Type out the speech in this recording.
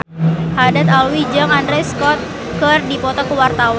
Haddad Alwi jeung Andrew Scott keur dipoto ku wartawan